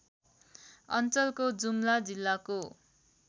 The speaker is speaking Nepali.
अञ्चलको जुम्ला जिल्लाको